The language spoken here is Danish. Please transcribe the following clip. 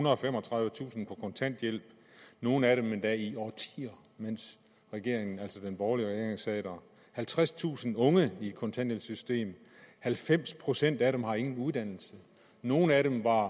og femogtredivetusind på kontanthjælp nogle af dem endda i årtier mens regeringen altså den borgerlige regering sad der halvtredstusind unge i kontanthjælpssystemet halvfems procent af dem har ingen uddannelse nogle af dem var